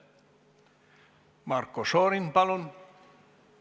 Marko Šorin, palun!